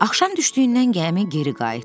Axşam düşdüyündən gəmi geri qayıtdı.